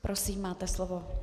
Prosím, máte slovo.